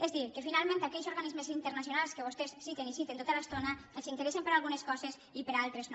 és a dir que finalment aquells organismes internacionals que vostès citen i citen tota l’estona els interessen per a algunes coses i per a altres no